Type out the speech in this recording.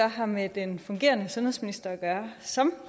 har med den fungerende sundhedsminister at gøre som